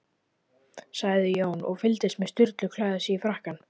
sagði Jón, og fylgdist með Sturlu klæða sig í frakkann.